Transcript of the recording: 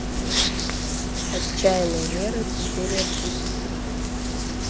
отчаянные меры серия тридцать три